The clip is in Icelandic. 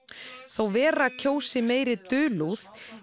þó Vera kjósi meiri dulúð